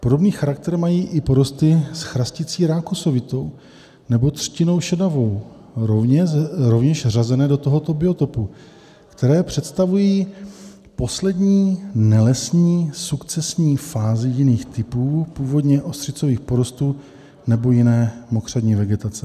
Podobný charakter mají i porosty s chrasticí rákosovitou nebo třtinou šedavou, rovněž řazené do tohoto biotopu, které představují poslední nelesní sukcesní fázi jiných typů původně ostřicových porostů nebo jiné mokřadní vegetace.